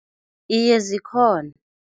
Iye, zikhona.